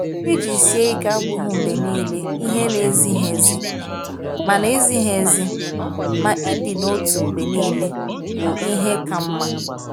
Iji sie ike abụghị mgbe niile ihe na-ezighi ezi. Ma na-ezighi ezi. Ma ịdị n’otu mgbe niile bụ ihe ka mma.